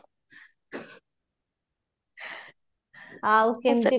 ଆଉ କେମିତି